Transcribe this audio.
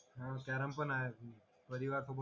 carrom पण आहेत परिवार सोबत